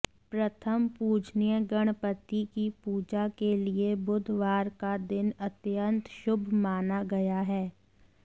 प्रथम पूजनीय गणपति की पूजा के लिए बुधवार का दिन अत्यंत शुभ माना गया है